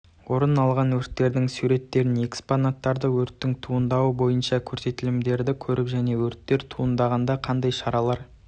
орын алған өрттердің суреттерін экспонаттарды өрттің туындауы бойынша көрсетілімдерді көріп және өрттер туындағанда қандай шаралар